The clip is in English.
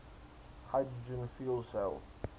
hydrogen fuel cell